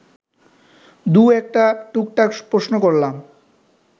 দু-একটা টুকটাক প্রশ্ন করলাম